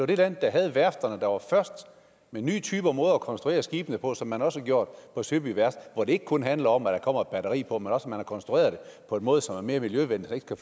det land der havde værfterne der var først med nye måder at konstruere skibene på som man også har gjort på søby værft hvor det ikke kun handler om at der kommer et batteri på men også at man har konstrueret det på en måde som er mere miljøvenlig så